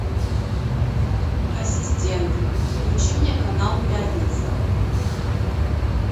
ассистент включи мне канал пятница